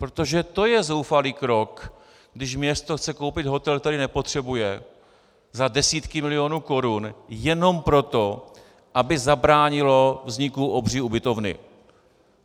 Protože to je zoufalý krok, když město chce koupit hotel, který nepotřebuje, za desítky milionů korun jenom proto, aby zabránilo vzniku obří ubytovny.